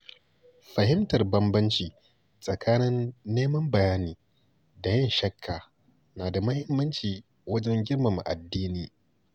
Fahimtar bambanci tsakanin neman bayani da yin shakka na da muhimmanci wajen girmama addini.